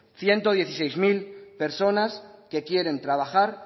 ciento dieciséis mil personas que quieren trabajar